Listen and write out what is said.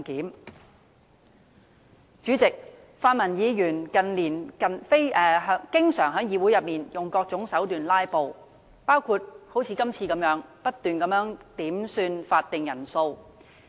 代理主席，泛民議員近年經常在議會內用各種手段"拉布"，包括像今次一樣不斷要求點算法定人數。